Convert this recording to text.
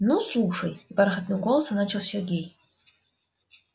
ну слушай бархатным голосом начал сергей